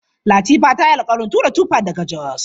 Latifa ta yi alƙawarin tura tuffa daga Jos.